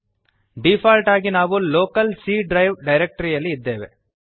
default ಆಗಿ ನಾವು local C drive ಡಿರೆಕ್ಟರಿಯಲ್ಲಿ ಇದ್ದೇವೆ